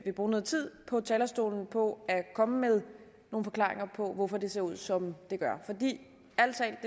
bruge noget tid på talerstolen på at komme med nogle forklaringer på hvorfor det ser ud som det gør for det